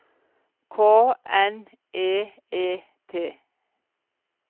K N E E T